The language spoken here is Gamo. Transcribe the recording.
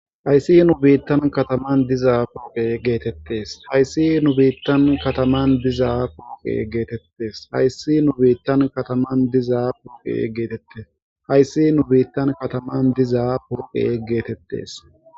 Hayssi nu biittan kataman diza pooqe geetettes hayssi nu biittan kataman diza pooqe geetettes hayssi nu biittan kataman diza puqe geetette hayssi nu biittan kataman diza purqe geetettes